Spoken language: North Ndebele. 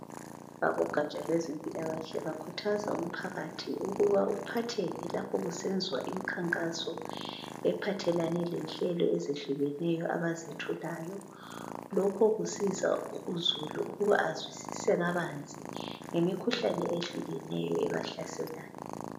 Abogaja lwezempilakahle bakhuthaza umphakathi ukuba uphatheke lapho kusenzwa imikhankaso ephathelane lenhlelo ezehlukeneyo abazethulayo. Lokho kusiza uzulu ukuba azwisise kabanzi ngemikhuhlane ehkukeneyo ebahlaselayo.